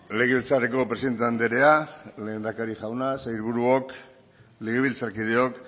legebiltzarreko presidente andrea lehendakari jauna sailburuok legebiltzarkideok